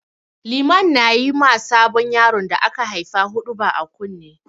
Liman na yi ma sabon yaron da aka haifa huɗuba a kunne.